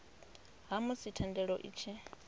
ha musi thendelo i tshi